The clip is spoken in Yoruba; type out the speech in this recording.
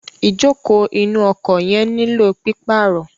Ìjókòó inú ọkọ̀ yẹn nílò pípàrọ̀.